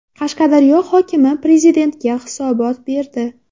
Qashqadaryo hokimi Prezidentga hisobot berdi.